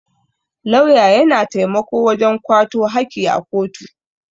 Lauya ya na taimako wajen kwato haki a kotu.